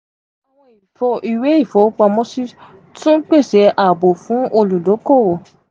awọn iwe ifowopamosi tun pese aabo fun oludokoowo.